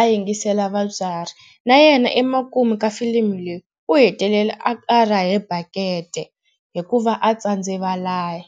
a yingisela vatswari na yena emakumu ka filimi leyi u hetelela a rahe bakete hikuva a tsandze valayi.